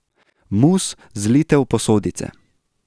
Mus zlijte v posodice.